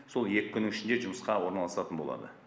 сол екі күннің ішінде жұмысқа орналасатын болады